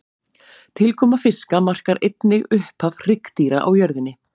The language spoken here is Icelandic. Tilkoma fiska markar einnig upphaf hryggdýra á jörðinni.